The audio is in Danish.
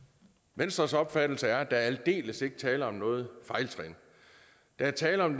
venstres opfattelse er at der aldeles ikke er tale om noget fejltrin der er tale om